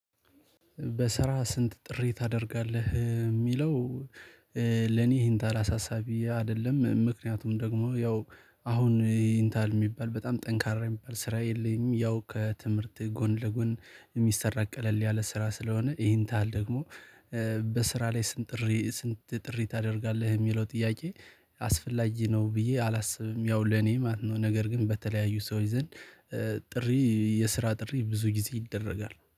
በስራ ስንት ጥሪ ታደርጋለህ የሚለው? ለኔ ይሄን ተራ አሳሳቢ አይደለም ምክንያቱም ደግሞ ያው አሁን ይሄን ታህል የሚባል በጣም ጠንካራ የሚባል ስራ የለኝም። ያው ከትምህርቴ ጎን ለጎን የሚሰራ ቀለል ያለ ስራ ስለሆነ ይሄን ታህል ደግሞ። በስራ ላይ ስንት ጥሪ ስንት ጥሪ ታደርጋለህ የሚለው ጥያቄ። አስፈላጊ ነው ብዬ አላስብም ያው ለኔ ማለት ነው። ነገር ግን በተለያዩ ሰዎች ዘንድ ጥሪ የስራ ጥሪ ብዙ ጊዜ ይደረጋል